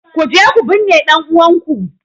Kuje ku binne ɗan'uwanku!